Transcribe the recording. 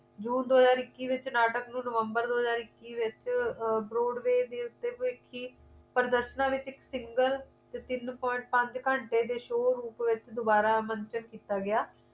june ਦੋ ਹਜ਼ਾਰ ਇੱਕੀ ਦੇ ਵਿਚ ਨਾਟਕ ਨੂੰ november ਦੋ ਹਜ਼ਾਰ ਇੱਕੀ ਵਿਚ ਆਹ brodway ਦੇ ਉੱਤੇ ਭਵਿੱਖੀ ਪ੍ਰਦਰਸ਼ਨਾਂ ਦੇ ਵਿਚ ਇੱਕ single ਤਿੰਨ point ਘੰਟੇ ਦੇ show ਰੂਪ ਦੇ ਵਿਚ ਦੁਬਾਰਾ ਅਮਨ ਦੇ ਵਿੱਚ ਕੀਤਾ ਗਿਆ